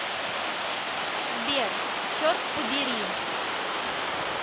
сбер черт побери